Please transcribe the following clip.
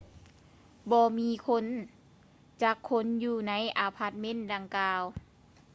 ບໍ່ມີຄົນຈັກຄົນຢູ່ໃນອາພາດເມັນດັ່ງກ່າວ